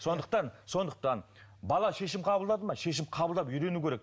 сондықтан сондықтан бала шешім қабылдады ма шешім қабылдап үйрену керек